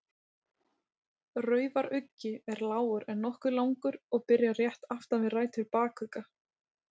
Raufaruggi er lágur en nokkuð langur og byrjar rétt aftan við rætur bakugga.